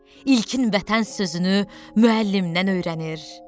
İlkin vətən sözünü müəllimdən öyrənir.